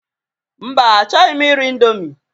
Mba, achọghị m iri indomie